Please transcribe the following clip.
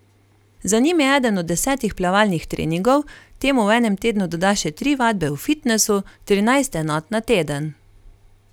Za njim je eden od desetih plavalnih treningov, temu v enem tednu doda še tri vadbe v fitnesu, trinajst enot na teden.